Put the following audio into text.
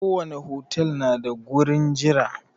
Ko wani otal na da gurin jira.